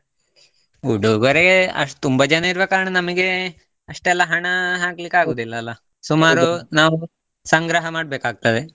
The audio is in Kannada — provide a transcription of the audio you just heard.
ಉಡುಗೊರೆ ಅಷ್ಟ್ ತುಂಬಾ ಜನ ಇರುವ ಕಾರಣ ನಮಿಗೆ ಅಷ್ಟೆಲ್ಲಾ ಹಣ ಹಾಕ್ಲಿಕ್ಕೆ ಆಗುದಿಲ್ಲ ಅಲ್ಲ? ಸುಮಾರು ನಾವು ಸಂಗ್ರಹ ಮಾಡ್ಬೇಕಾಗ್ತದೆ.